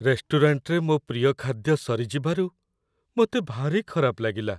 ରେଷ୍ଟୁରାଣ୍ଟରେ ମୋ ପ୍ରିୟ ଖାଦ୍ୟ ସରିଯିବାରୁ ମୋତେ ଭାରି ଖରାପ ଲାଗିଲା।